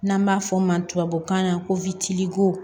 N'an b'a fɔ o ma tubabukan na ko